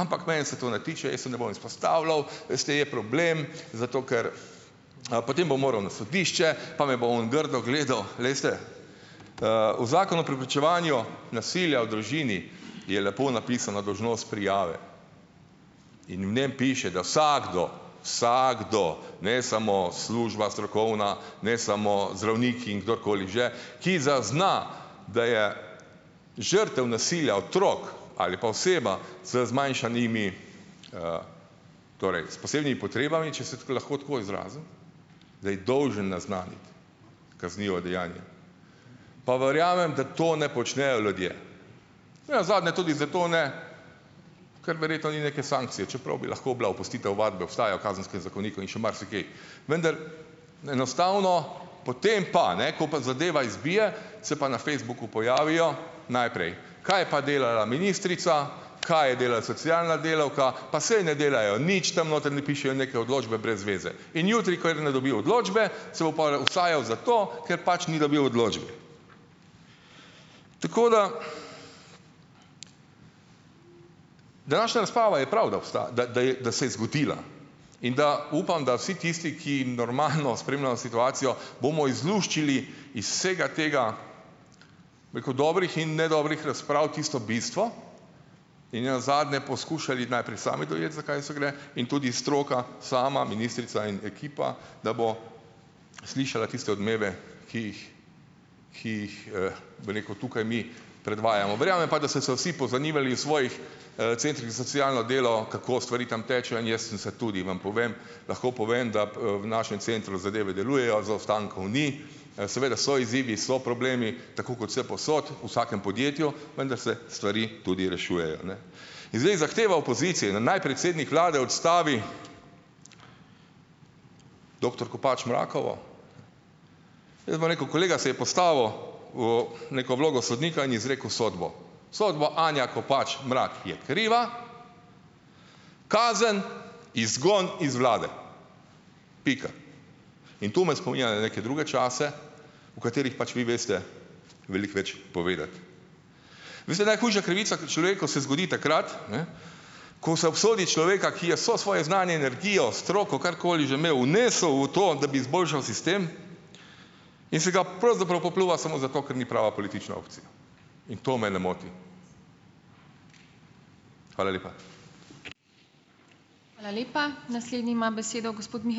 ampak mene se to ne tiče, jaz se ne bom izpostavljal, veste, je problem, zato ker, potem bom moral na sodišče pa me bo oni grdo gledal. Veste, v Zakonu o preprečevanju nasilja v družini je lepo napisana dolžnost prijave. In v njem piše, da vsakdo, vsakdo, ne samo služba strokovna, ne samo zdravniki in kdorkoli že, ki zazna, da je žrtev nasilja otrok, ali pa oseba z zmanjšanimi, torej s posebnimi potrebami, če se lahko tako izrazim, da je dolžen naznaniti kaznivo dejanje. Pa verjamem, da to ne počnejo ljudje. Nenazadnje tudi zato ne, ker verjetno ni neke sankcije, čeprav bi lahko bila, opustitev ovadbe obstaja v Kazenskem zakoniku in še marsikje, vendar, enostavno, potem pa, ne, ko pa zadeva izbije, se pa na Facebooku pojavijo , najprej, kaj pa delala ministrica, kaj je delala socialna delavka, pa saj ne delajo nič, tam noter, ne, pišejo neke odločbe brez veze. In jutri, ko je ne dobi, odločbe, se bo pol usajal zato, ker pač ni dobil odločbe. Tako da današnja razprava je prav, da obstaja, da, da je, da se je zgodila. In da, upam, da vsi tisti, ki normalno spremljajo situacijo, bomo izluščili iz vsega tega, rekel, dobrih in nedobrih razprav, tisto bistvo in nenazadnje poskušali najprej sami dojeti, zakaj se gre, in tudi stroka sama, ministrica in ekipa, da bo slišala tiste odmeve, ki jih, ki jih, bi rekel, tukaj mi predvajamo . Verjamem pa, da se so vsi pozanimali iz svojih centrih za socialno delo, kako stvari tam tečejo, in jaz sem se tudi, vam povem, lahko povem, da v našem centru zadeve delujejo, zaostankov ni. Seveda so izzivi, so problemi, tako kot vsepovsod, vsakem podjetju, vendar se stvari tudi rešujejo, ne. In zdaj zahteva opozicije, da naj predsednik Vlade odstavi doktor Kopač Mrakovo, jaz bom rekel, kolega se je postavil v neko vlogo sodnika in izrekel sodbo. Sodbo Anja Kopač Mrak je kriva, kazen: izgon iz Vlade. Pika. In tu me spominja na neke druge čase, o katerih pač vi veste veliko več povedati. Veste, najhujša krivica človeku se zgodi takrat, ne, ko se obsodi človeka, ki je so svoje znanje, energijo, stroko, karkoli že imel, vnesel v to, da bi izboljšal sistem, in se ga pravzaprav popljuva samo zato, ker ni prava politična opcija. In to mene moti. Hvala lepa. Hvala lepa. Naslednji ima besedo gospod Miha ...